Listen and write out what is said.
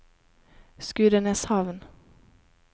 Skudeneshavn